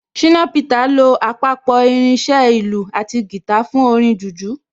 Ṣìnà Peter lo àpapọ̀ irin iṣẹ́ ìlù àti guitar fún orin jùjú